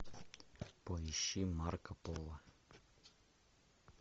поищи марко поло